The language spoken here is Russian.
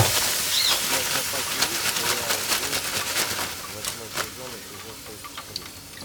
у тебя в запасе есть сериал уилфред восьмой сезон эпизод тридцать три